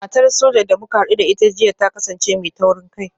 Matar Soja da muka hadu da ita jiya ta kasance mai taurin kai